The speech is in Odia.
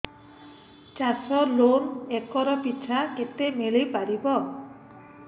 ଚାଷ ଲୋନ୍ ଏକର୍ ପିଛା କେତେ ମିଳି ପାରିବ